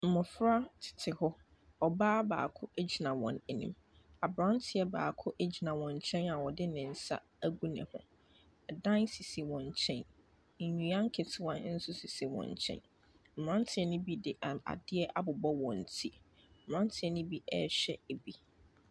Mmɔfra tete hɔ ɔbaa baako gyina wɔn anim abranteɛ baako ɛgyina wɔn nkyɛn a ɔdi nsa ɛu nehu ɛdan sisi wɔn nkyɛn ndua ketewa nso sisi wɔn nkyɛn mmaranteɛ no bi di adeɛ abobɔ wɔn tire mmaranteɛ nobi ɛhwɛ bi.